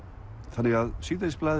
þannig að